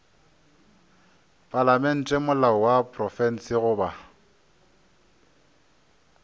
palamente molao wa profense goba